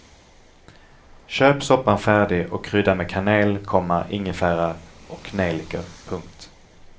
Köp soppan färdig och krydda med kanel, komma ingefära och nejlikor. punkt